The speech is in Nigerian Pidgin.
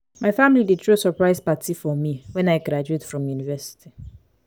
my family dey throw surprise party for me when i graduate from university.